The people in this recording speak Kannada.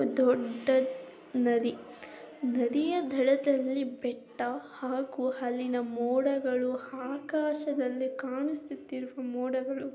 ಇದು ದೂಡ್ಡ ನದಿ ನದಿಯ ದಡದಲ್ಲಿ ಬೆಟ್ಟ ಹಾಗೂ ಅಲ್ಲಿನ ಮೂಡಗಳು ಆಕಾಶದಲ್ಲಿ ಕಾಣಿಸುತ್ತಿರುವ ಮೂಡಗಳು--